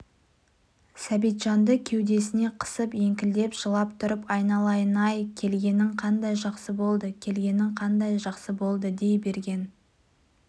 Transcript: сәбитжанды кеудесіне қысып еңкілдеп жылап тұрып айналайын-ай келгенің қандай жақсы болды келгенің қандай жақсы болды дей берген